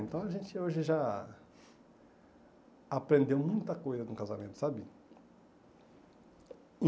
Então a gente hoje já aprendeu muita coisa no casamento, sabe?